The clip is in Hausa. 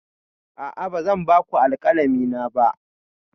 A'a, ba zan ba ku alkalami na ba.